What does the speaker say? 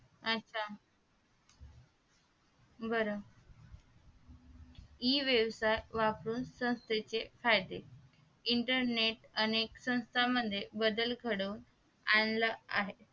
बरं e व्यवसाय वापरून संस्थेचे फायदे internet अनेक संस्थांमध्ये बदल घडून आणला आहे